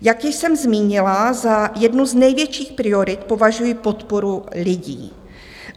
Jak již jsem zmínila, za jednu z největších priorit považuji podporu lidí.